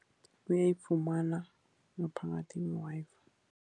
Uyayifumana ngaphakathi kwe-Wi-Fi.